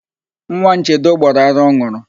Nwa Nchedo gbọrọ ara ọ n̄ụrụ.